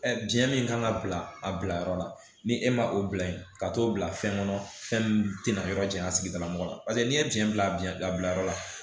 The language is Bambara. Ɛ jiyɛn min kan ka bila a bila yɔrɔ la ni e ma o bila yen ka t'o bila fɛn kɔnɔ fɛn min tɛna yɔrɔ janya sigidala mɔgɔ la paseke n'i ye diɲɛ bila biɲɛ bila bila yɔrɔ la